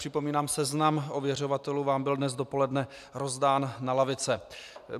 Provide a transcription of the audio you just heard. Připomínám, že seznam ověřovatelů vám byl dnes dopoledne rozdán na lavice.